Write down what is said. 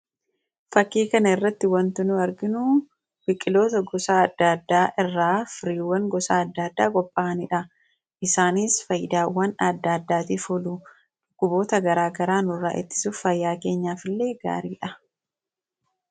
Fakkii kana irratti wanti nu arginu biqitoota gosa adda addaa irraa firiiwwan gosa adda addaa qophaa'anii dha. Isaanis, faayidaawwan adda addaatiif oolu. Dhukkuboota garaagaraa nurraa ittisuuf fayyaa keenyaaf illee gaarii dha.